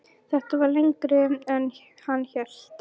Þetta var lengra en hann hélt.